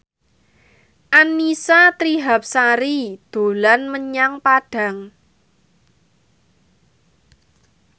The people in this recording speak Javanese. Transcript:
Annisa Trihapsari dolan menyang Padang